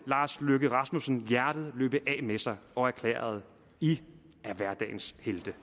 lars løkke rasmussen hjertet løbe af med sig og erklærede i er hverdagens helte